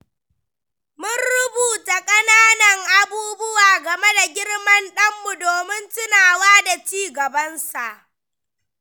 Mun rubuta ƙananan abubuwa game da girman ɗanmu domin tunawa da ci gabansa.